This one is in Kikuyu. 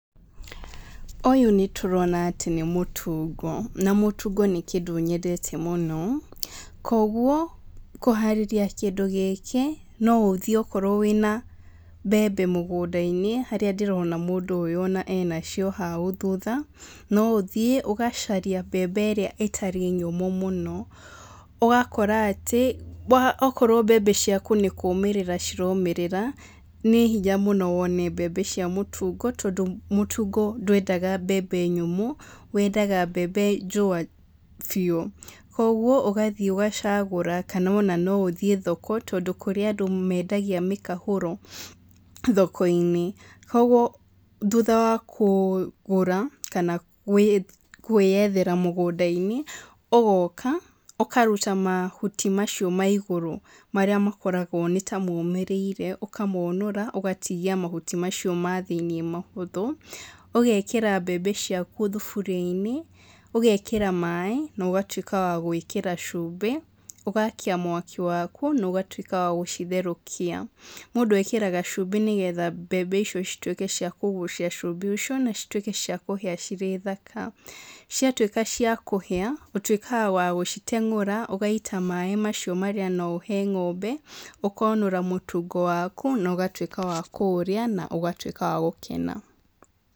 Ũyũ nĩ tũrona atĩ nĩ mũtungo. Na mũtungo nĩ kĩndũ nyendete mũno. Koguo, kũharĩria kĩndũ gĩkĩ, no ũthiĩ okorwo wĩna mbembe mũgũnda-inĩ, harĩa ndĩrona mũndũ ũyũ ona ena cio hau thutha, no ũthiĩ ũgacaria mbembe ĩrĩa ĩtarĩ nyũmũ mũno. Ũgakora atĩ, okorwo mbembe ciaku nĩ kũũmĩrĩra ciromĩrĩra, nĩ hinya mũno wone mbembe cia mũtungo tondũ mũtungo ndwendaga mbembe nyũmũ, wendaga mbembe njũa biũ. Koguo, ũgathiĩ ũgacagũra kana ona no ũthiĩ thoko, tondũ kũrĩ andũ mendagia mĩkahũro thoko-inĩ. Koguo thutha wa kũgũra, kana gwĩyethera mũgũnda-inĩ, ũgoka, ũkaruta mahuti macio ma igũrũ marĩa makoragwo nĩ ta momĩrĩire, ũkamonora, ũgatigia mahuti macio ma thĩiniĩ mahũthũ. Ũgekĩra mbembe ciaku thuburia-inĩ, ũgekĩra maĩ no ũgatuĩka wa gwĩkĩra cumbĩ, ũgaakia mwaki waku, na ũgatuĩka wa gũcitherũkia. Mũndũ ekĩraga cumbĩ nĩgetha mbembe icio cituĩke cia kũgucia cumbĩ ũcio, na cituĩke cia kũhĩa cirĩ thaka. Ciatuĩka cia kũhĩa, ũtuĩkaga wa gũciteng'ũra, ũgaita maĩ macio marĩa no ũhe ng'ombe, ũkonũra mũtungo waku, na ũgatuĩka wa kũũrĩa, na ũgatuĩka wa gũkena.